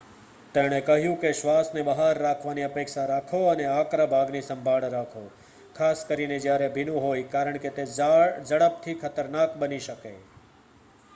તેણે કહ્યું કે શ્વાસને બહાર રાખવાની અપેક્ષા રાખો અને આકરા ભાગની સંભાળ રાખો ખાસ કરીને જ્યારે ભીનું હોય કારણ કે તે ઝડપથી ખતરનાક બની શકે